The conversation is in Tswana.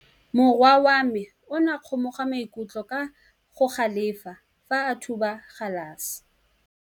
Morwa wa me o ne a kgomoga maikutlo ka go galefa fa a thuba galase.